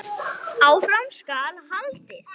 Áfram skal haldið.